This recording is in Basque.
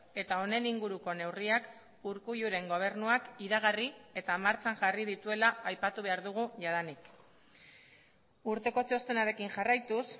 eta honen inguruko neurriak urkulluren gobernuak iragarri eta martxan jarri dituela aipatu behar dugu jadanik urteko txostenarekin jarraituz